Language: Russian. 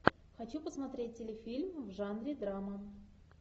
хочу посмотреть телефильм в жанре драма